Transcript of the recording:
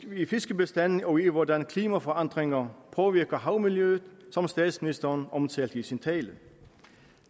i fiskebestande og i hvordan klimaforandringer påvirker havmiljøet som statsministeren omtalte i sin tale